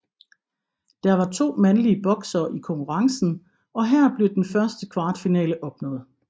Der var 2 mandlige boksere i konkurrence og her blev den første kvartfinale opnået